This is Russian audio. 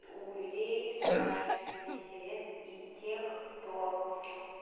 у людей старше шестидесяти лет и тех кто